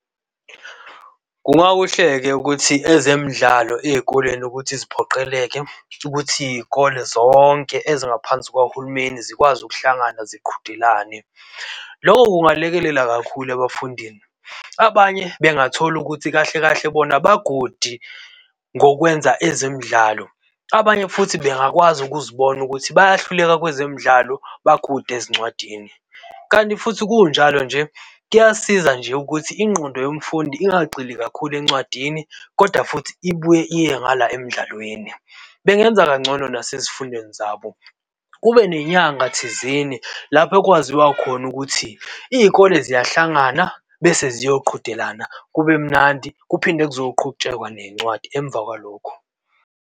Kungakuhle-ke ukuthi ezemidlalo ezikoleni ukuthi ziphoqeleke ukuthi izikole zonke ezingaphansi kwahulumeni zikwazi ukuhlangana ziqhudelane. Loko kungalekelela kakhulu ebafundini. Abanye bengathola ukuthi kahle kahle bona ba-good ngokwenza ezemidlalo abanye futhi bengakwazi ukuzibona ukuthi bayahluleka kwezemidlalo ba-good ezincwadini. Kanti futhi kunjalo nje kuyasiza nje ukuthi ingqondo yomfundi ingagxili kakhulu encwadini koda futhi ibuye iye ngala emdlalweni. Bengenza kangcono nasezifundweni zabo. Kube nenyanga thizeni lapho ekwaziwa khona ukuthi izikole ziyahlangana bese ziyoqhudelana, kube mnandi kuphinde kuzoqhutshekwa nezincwadi emva kwalokho.